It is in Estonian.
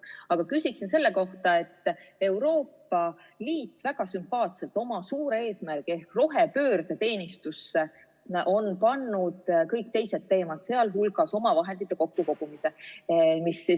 Aga küsin selle kohta, et Euroopa Liit on väga sümpaatselt oma suure eesmärgi ehk rohepöörde teenistusse pannud kõik teised teemad, sh omavahendite kokkukogumise.